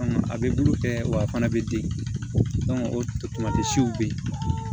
A bɛ bulu kɛ wa a fana bɛ den o tamasiw bɛ yen